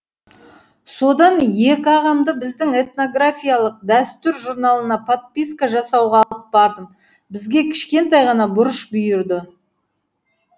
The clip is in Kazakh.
содан екі ағамды біздің этногрофиялық дәстүр журналына подписка жасауға алып бардым бізге кішкентай ғана бұрыш бұйырды